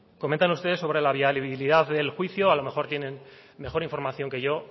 comentan ustedes sobre la viabilidad del juicio a lo mejor tienen mejor información que yo